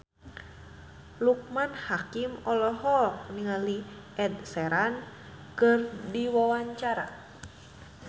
Loekman Hakim olohok ningali Ed Sheeran keur diwawancara